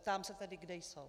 Ptám se tedy: Kde jsou?